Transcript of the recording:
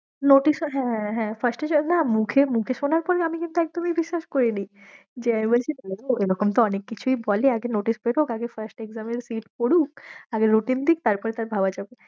notice ও হ্যাঁ হ্যাঁ মুখে মুখে শোনার পর আমি কিন্তু একদমই বিশ্বাস করিনি ওই রকম অনেক কিছুই তো বলে আগে notice বেরোক আগে first exam এর seat পরুক আগে routine দিক তারপরে তার ভাবা যাবে।